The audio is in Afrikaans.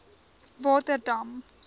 waterdam